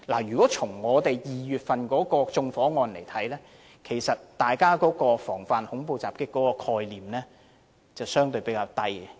如果從2月的縱火案來看，其實大家防範恐怖襲擊的概念相對較低。